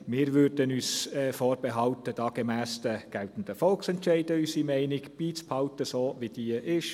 Wir würden uns da gemäss den geltenden Volksentscheiden vorbehalten, unsere Meinung so beizubehalten, wie sie ist.